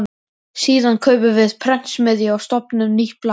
Síðan kaupum við prentsmiðju og stofnum nýtt blað.